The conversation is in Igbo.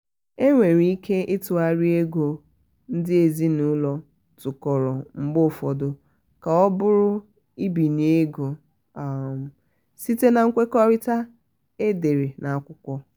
e nwere ike ịtụghari ego ndị ezinụlọ tụkọrọ mgbe ụfọdọ ka ọ bụrụ mbinye ego um site na nkwekọrịta e dere n'akwụkwọ. um